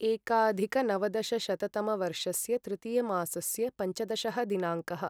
एकाधिकनवदशशततमवर्षस्य तृतीयमासस्य पञ्चदशः दिनाङ्कः